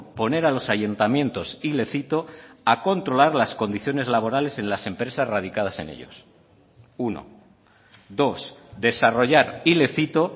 poner a los ayuntamientos y le cito a controlar las condiciones laborales en las empresas radicadas en ellos uno dos desarrollar y le cito